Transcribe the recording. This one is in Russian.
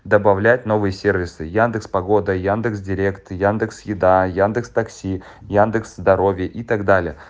добавлять новые сервисы яндекс погода яндекс директ яндекс еда яндекс такси яндекс здоровье и так далее